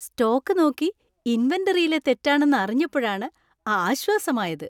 Stock നോക്കി ഇൻവെന്‍ററിയിലെ തെറ്റാണെന്ന് അറിഞ്ഞപ്പോഴാണ് ആശ്വാസമായത്.